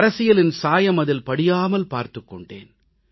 அரசியலின் சாயம் அதில் படியாமல் பார்த்துக் கொண்டேன்